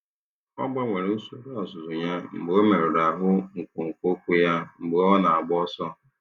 Ọ gbanwere usoro ọzụzụ ya mgbe ọ merụrụ ahụ nkwonkwo ụkwụ ya mgbe ọ na-agba ọsọ.